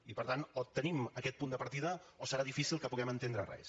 i per tant o tenim aquest punt de partida o serà difícil que puguem entendre res